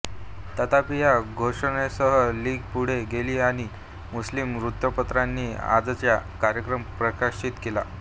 तथापि या घोषणेसह लीग पुढे गेली आणि मुस्लिम वृत्तपत्रांनी आजचा कार्यक्रम प्रकाशित केला